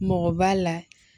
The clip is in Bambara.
Mɔgɔ b'a la